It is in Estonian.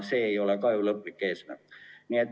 See ei ole lõplik eesmärk.